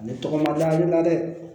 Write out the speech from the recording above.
A bɛ tɔgɔ labila hakili la dɛ